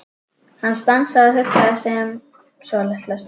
Hann stansaði og hugsaði sig um svolitla stund.